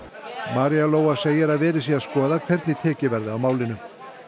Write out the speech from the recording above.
María Lóa segir að verið sé að skoða hvernig tekið verði á málinu